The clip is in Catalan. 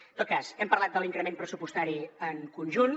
en tot cas hem parlat de l’increment pressupostari en conjunt